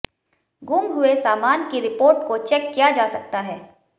गुम हुए सामान की रिपोर्ट को चेक किया जा सकता है